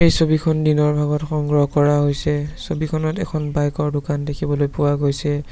ছবিখন দিনৰ ভাগত সংগ্ৰহ কৰা হৈছে ছবিখনত এখন বাইক ৰ দোকান দেখিবলৈ পোৱা গৈছে।